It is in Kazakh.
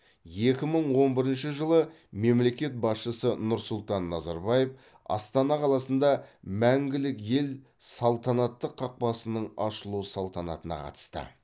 екі мың он бірінші жылы мемлекет басшысы нұрсұлтан назарбаев астана қаласында мәңгілік ел салтанатты қақпасының ашылу салтанатына қатысты